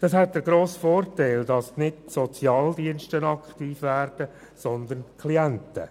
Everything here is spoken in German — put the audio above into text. Dies hätte den grossen Vorteil, dass nicht die Sozialdienste aktiv werden, sondern die Klienten.